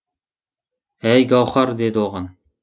әй гауһар деді оған